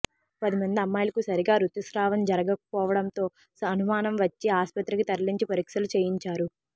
పదిమంది అమ్మాయిలకు సరిగా రుతుస్రావం జరగకపోవడంతో అనుమానం వచ్చి ఆస్పత్రికి తరలించి పరీక్షలు చేయించారు